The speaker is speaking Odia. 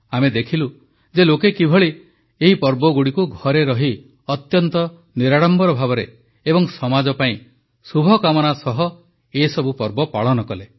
ଆମେ ଦେଖିଲୁ ଯେ ଲୋକେ କିଭଳି ଏହି ପର୍ବଗୁଡ଼ିକୁ ଘରେ ରହି ଅତ୍ୟନ୍ତ ନିରାଡମ୍ବର ଭାବେ ଏବଂ ସମାଜ ପାଇଁ ଶୁଭକାମନା ସହ ଏସବୁ ପର୍ବ ପାଳନ କଲେ